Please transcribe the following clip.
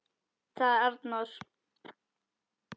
., sagði Arnór.